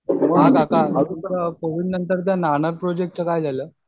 हां काका आता कोविडनंतर प्रोजेक्टचं काय झालं?